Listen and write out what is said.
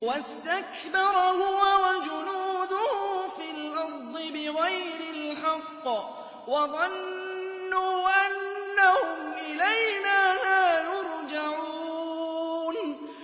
وَاسْتَكْبَرَ هُوَ وَجُنُودُهُ فِي الْأَرْضِ بِغَيْرِ الْحَقِّ وَظَنُّوا أَنَّهُمْ إِلَيْنَا لَا يُرْجَعُونَ